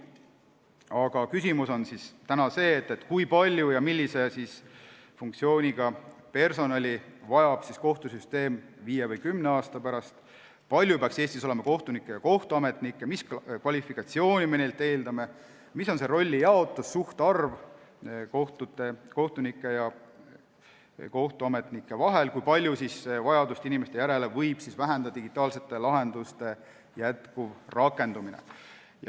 Aga küsimus on see, kui palju ja millise funktsiooniga personali vajab kohtusüsteem viie või kümne aasta pärast, kui palju peaks Eestis olema kohtunikke ja kohtuametnikke, mis kvalifikatsiooni me neilt eeldame, mis on see rollijaotus, kohtunike ja kohtuametnike suhtarv, kui palju võib vajadust inimeste järele vähendada digitaalsete lahenduste jätkuv rakendumine.